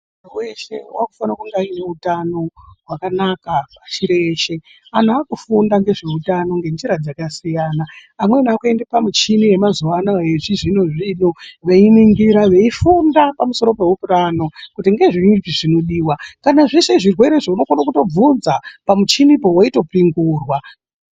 Muntu weshe anofana ane hutano hwakanaka pashi reshe antu akufunda nezvehutano yakasiyana pamushinu yemazuva ano yechizvino zvino veinigura veifunda pamusoro kuti zvinenge zveidiwa nezvimweni zvirwere unokona kuvhunza pamuchini weipingurwa.